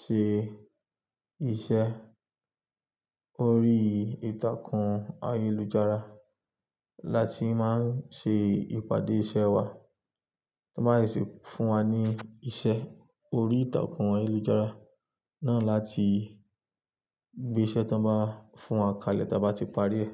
ṣe iṣẹ́. Orí ìtàkùn ayélujára láti máa ń ṣe ìpàdé iṣẹ́ wa. Wọ́n báa seṣè fún wa ní iṣẹ́ orí ìtàkùn ayélujára náà láti gbé iṣẹ́ tí wọ́n bá fún wa kalẹ̀ tí a bá ti parí ẹ̀